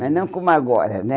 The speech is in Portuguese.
Mas não como agora, né?